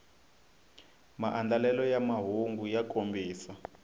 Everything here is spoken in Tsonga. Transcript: maandlalelo ya mahungu ya kombisa